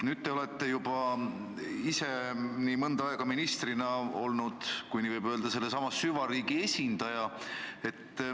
Nüüd te olete juba ise mõnda aega ministrina olnud, kui nii võib öelda, sellesama süvariigi esindaja.